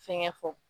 Fɛnkɛ fɔ